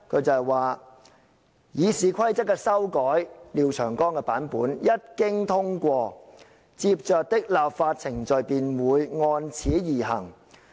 她說："《議事規則》的修改一經通過，接着的立法程序便會按此而行。